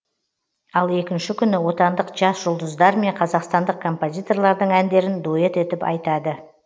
ал екінші күні отандық жас жұлдыздар мен қазақстандық композиторлардың әндерін дуэт етіп айтады